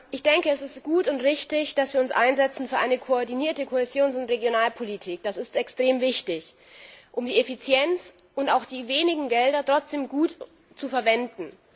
Ich denke, es ist gut und richtig, dass wir uns für eine koordinierte Kohäsions und Regionalpolitik einsetzen. Das ist extrem wichtig, um die Effizienz und auch die wenigen Gelder trotzdem gut zu verwenden.